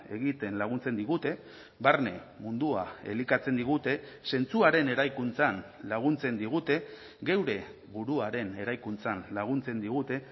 egiten laguntzen digute barne mundua elikatzen digute zentzuaren eraikuntzan laguntzen digute geure buruaren eraikuntzan laguntzen digute